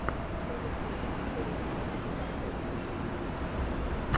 на ютьюбе поищи таттосику